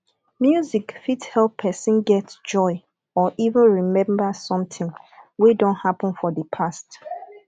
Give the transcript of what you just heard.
music fit help person get joy or even remember something wey don happen for di past